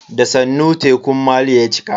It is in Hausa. Da sannu tekun maliya ya cika.